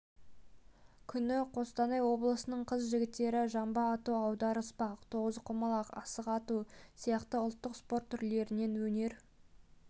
күні қостанай облысының қыз-жігіттері жамбы ату аударыспақ тоғызқұмалақ асық ату сияқты ұлттық спорт түрлерінен өнер